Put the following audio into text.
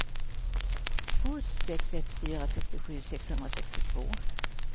två sex ett fyra sextiosju sexhundrasextiotvå